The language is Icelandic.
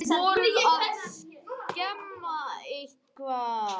Voruð þið að skemma eitthvað?